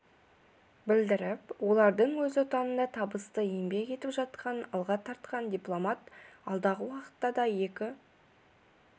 білдіріп олардың өз отанында табысты еңбек етіп жатқанын алға тартқан дипломат алдағы уақытта да екі